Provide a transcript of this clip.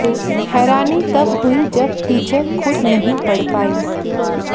हैरानी तब हुई जब टीचर खुद नहीं पढ़ पाईं